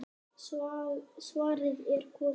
Svarið er komið.